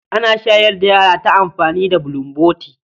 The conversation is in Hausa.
Ana shayar da yara ta amfani da bulomboti.